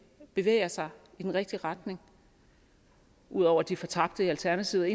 bevæger sig i den rigtige retning udover de fortabte i alternativet